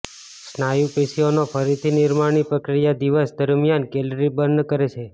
સ્નાયુ પેશીઓના ફરીથી નિર્માણની પ્રક્રિયા દિવસ દરમિયાન કેલરી બર્ન કરે છે